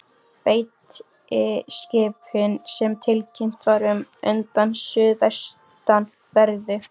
Beitiskipin, sem tilkynnt var um undan suðvestanverðu